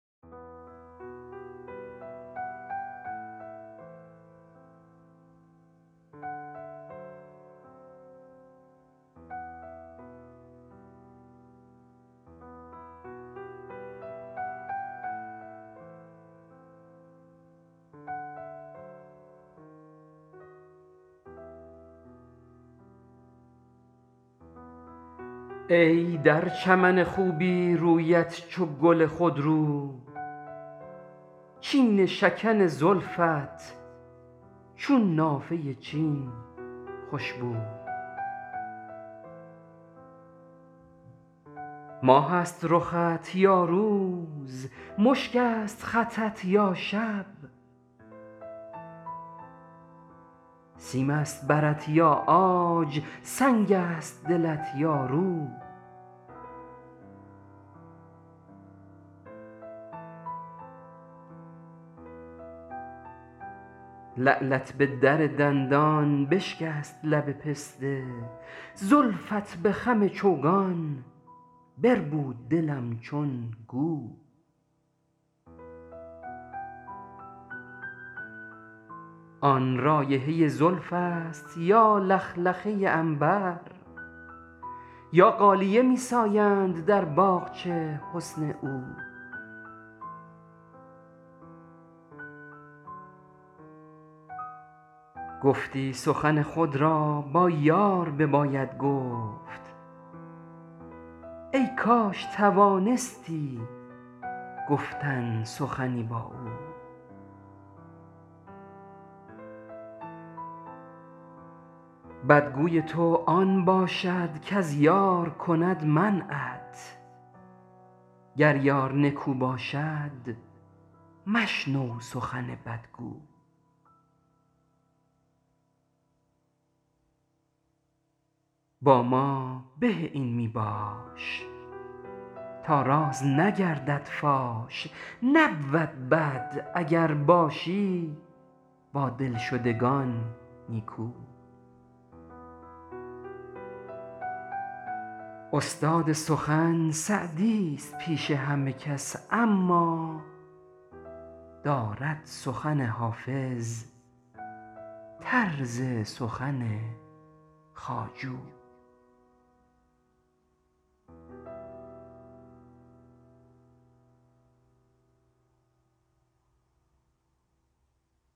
ای در چمن خوبی رویت چو گل خودرو چین شکن زلفت چون نافه چین خوش بو ماه است رخت یا روز مشک است خطت یا شب سیم است برت یا عاج سنگ است دلت یا رو لعلت به در دندان بشکست لب پسته زلفت به خم چوگان بربود دلم چون گو آن رایحه زلف است یا لخلخه عنبر یا غالیه می ساید در باغچه حسن او گفتی سخن خود را با یار بباید گفت ای کاش توانستی گفتن سخنی با او بدگوی تو آن باشد کز یار کند منعت گر یار نکو باشد مشنو سخن بدگو با ما به از این می باش تا راز نگردد فاش نبود بد اگر باشی با دلشدگان نیکو استاد سخن سعدیست پیش همه کس اما دارد سخن حافظ طرز سخن خواجو